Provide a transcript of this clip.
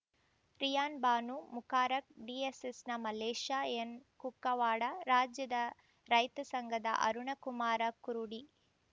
rayon Banu Mubarak ಡಿಎಸ್ಸೆಸ್‌ನ ಮಲ್ಲೇಶ ಎನ್‌ಕುಕ್ಕವಾಡ ರಾಜ್ಯದ ರೈತ ಸಂಘದ ಅರುಣಕುಮಾರ ಕುರುಡಿ